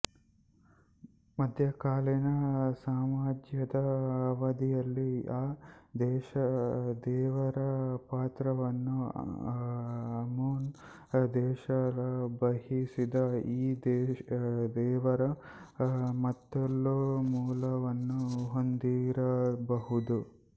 ಮಧ್ಯಕಾಲೀನ ಸಾಮ್ರಾಜ್ಯದ ಅವಧಿಯಲ್ಲಿ ಆ ದೇವರ ಪಾತ್ರವನ್ನು ಅಮುನ್ ದೇವರು ಬಹಿಸಿದ ಈ ದೇವರು ಮತ್ತೆಲ್ಲೋ ಮೂಲವನ್ನು ಹೊಂದಿದ್ದಿರಬಹುದು